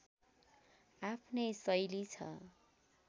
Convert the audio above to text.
आफ्नै शैली छ